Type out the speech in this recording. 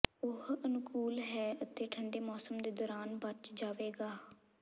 ਉਹ ਅਨੁਕੂਲ ਹੈ ਅਤੇ ਠੰਡੇ ਮੌਸਮ ਦੇ ਦੌਰਾਨ ਬਚ ਜਾਵੇਗਾ